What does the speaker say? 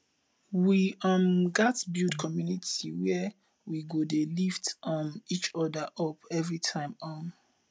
we um gats build community where we go dey lift um each other up every time um